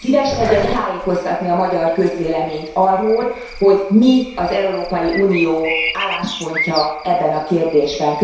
Szíveskedjen tájékoztatni a magyar közvéleményt arról, hogy mi az Európai Unió álláspontja ebben a kérdésben!